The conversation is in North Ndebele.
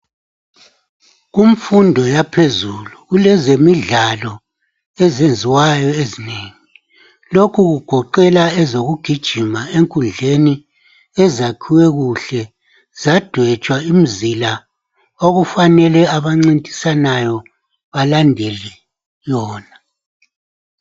Kumfundo yaphezulu kulezemidlalo ezenziwayo ezinengi lokhu kugoqela ezokugijima enkundleni ezakhiwe kuhle zadwetshwa imizila okufanele abancintisanayo balandele yona.